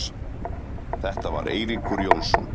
Þetta var Eiríkur Jónsson.